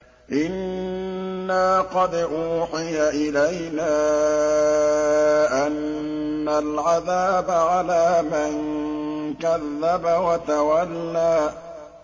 إِنَّا قَدْ أُوحِيَ إِلَيْنَا أَنَّ الْعَذَابَ عَلَىٰ مَن كَذَّبَ وَتَوَلَّىٰ